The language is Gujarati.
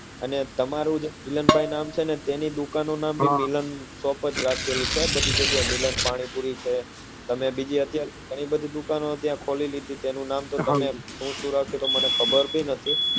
અને તમારું જે મિલનભાઈ નામ છે ને તેમની દુકાનનું નામ પણ હમ milan shop લખેલું છે બધી જગ્યા એ જેમ કે મિલન પાણીપુરી છે તમે અત્યારે બીજી ઘણી બધી દુકાનો ત્યા ખોલી લીધી છે તેનું નામ તમે શું શું રાખ્યું છે એ મને ખબર પણ નથી હમ